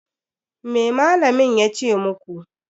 Me malamin ya ce muku?